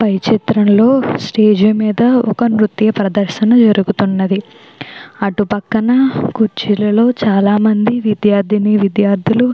పై చిత్రంలో స్టేజి మీద ఒక నృత్య ప్రదర్శన జరుగుతూ ఉన్నది అటు పక్కన కుర్చీలలో చాలామంది విద్యార్థిని విద్యార్థులు.